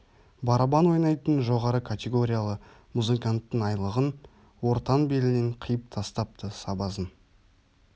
барабан ойнайтын жоғары категориялы музыканттың айлығын ортан белінен қиып тастапты сабазың